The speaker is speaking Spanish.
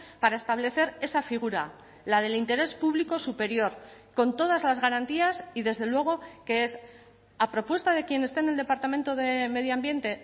para establecer esa figura la del interés público superior con todas las garantías y desde luego que es a propuesta de quien esté en el departamento de medio ambiente